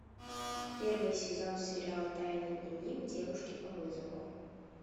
первый сезон сериала тайный дневник девушки по вызову